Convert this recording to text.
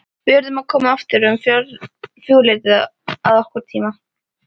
Við yrðum að koma aftur um fjögurleytið að okkar tíma.